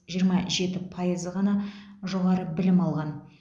жиырма жеті пайызы ғана жоғары білім алған